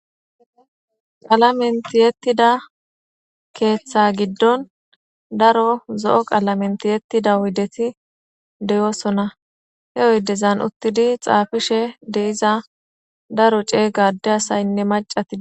Qalamen tiyetida keththa gidon daro zoo' qalamen tiyetida oydeti deo'sona, he oydeza uttidi xafishe dee'za daro cega asatine adeti dettes.